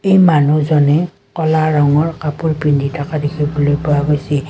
এই মানুহজনে ক'লা ৰঙৰ কাপোৰ পিন্ধি থকা দেখিবলৈ পোৱা গৈছে।